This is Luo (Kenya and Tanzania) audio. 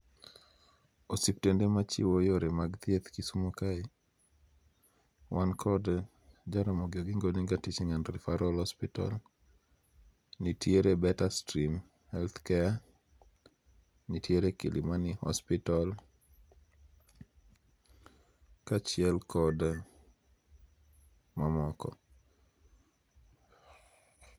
Osiptende machiwo yore mag thieth Kisumo kae wan kod Jaramogi Oginga Odinga Teaching and Referal hospital, nitiere Betterstream health care, nitiere Kilimani hospital, kachiel kod mamoko